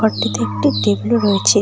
এটিতে একটি টেবিলও রয়েছে।